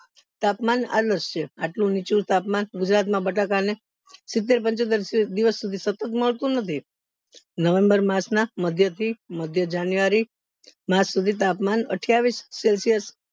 તાપમાન એટલું નીચું તાપમાન ગુજરાત માં બટાકા ને સિત્તેર પંચોતેર દિવસ સુધી સતત મળતું નથી november માસ ના મધ્ય થી મધ્ય january માસ સુધી તાપમાન અઠ્યાવીશ celsius